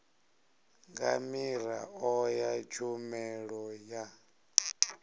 nga miraḓo ya tshumelo ya